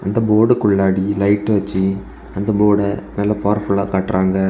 அந்த போர்டுக்குள்ளாடி லைட் வச்சு அந்த போர்ட பவர்ஃபுல்லா காட்டுறாங்க.